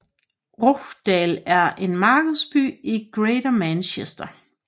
Rochdale er en markedsby i Greater Manchester